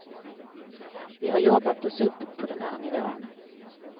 Vi har jobbat oss upp på den här nivån.